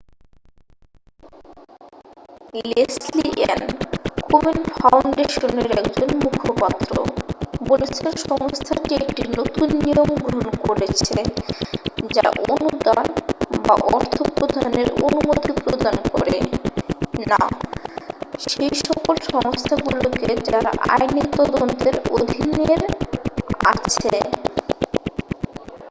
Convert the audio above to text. Leslie Ann Komen ফাউন্ডেশনের একজন মুখপাত্র বলেছেন সংস্থাটি একটি নতুন নিয়ম গ্রহন করেছে যা অনুদান বা অর্থ প্রদানের অনুমতি প্রদান করে না সেইসকল সংস্থাগুলোকে যারা আইনী তদন্তের অধীনের আছে